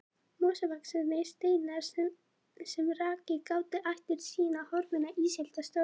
Mosavaxnir steinar, sem rakið gátu ættir sínar til horfinna ísalda, stóðu ljóslifandi.